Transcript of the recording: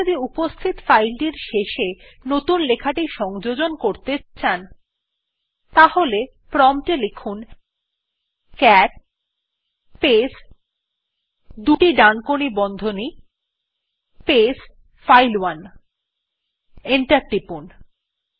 আপনি যদি উপস্থিত ফাইল টির শেষে নতুন লেখাটি সংযোজন করতে চান তাহলে প্রম্পট এ ক্যাট স্পেস দুটি ডানকোনি বন্ধনী স্পেস ফাইল1 লিখে এন্টার টিপুন